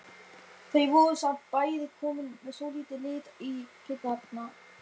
Þau voru samt bæði komin með svolítinn lit í kinnarnar.